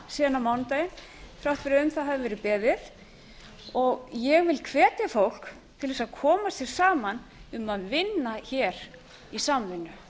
síðan á mánudaginn þrátt fyrir að um það hafi verið beðið ég vil hvetja fólk til þess að koma sér saman um að vinna hér í samvinnu